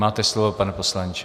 Máte slovo, pane poslanče.